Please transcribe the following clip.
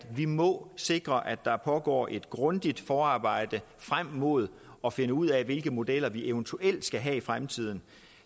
vi må sikre at der pågår et grundigt forarbejde frem mod at finde ud af hvilke modeller vi eventuelt skal have i fremtiden